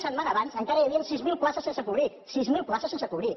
setmana abans encara hi havien sis mil places sense cobrir sis mil places sense cobrir